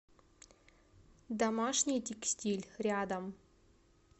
домашний текстиль рядом